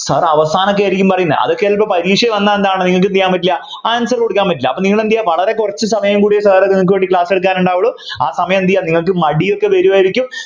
sir അവസാനൊക്കെ ആയിരിക്കും പറയുന്നേ അതൊക്കെ ചിലപ്പോ പരീക്ഷ വന്നാ എന്താണ് നിങ്ങൾക് ചെയ്യാൻ പറ്റില്ല answer കൊടുക്കാൻ പറ്റില്ല അപ്പൊ നിങ്ങളെന്ത് ചെയ്യാ വളരെ കുറച്ചു സമയം കൂടി sir നിങ്ങള്ക്ക് വേണ്ടി class എടുക്കാൻ ഉണ്ടാവുള്ളു ആ സമയം എന്ത് ചെയ്യാ നിങ്ങൾക്ക് മടിയൊക്കെ വരുവായിരിക്കും